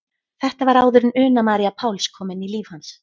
Þetta var áður en Una María Páls kom inn í líf hans.